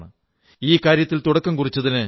ഈ കാര്യത്തിൽ തുടക്കം കുറിച്ചതിന് f